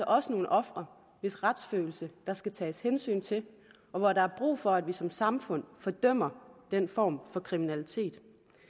også nogle ofre hvis retsfølelse der skal tages hensyn til og hvor der er brug for at vi som samfund fordømmer den form for kriminalitet